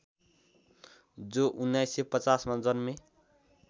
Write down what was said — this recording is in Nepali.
जो १९५० मा जन्मे